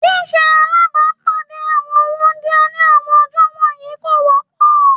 Ṣíṣe alábàpáàdé àwọn wúńdíá ní àwọn ọjọ́ wọ̀nyí kò wọ́pọ̀